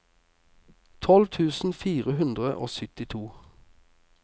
tolv tusen fire hundre og syttito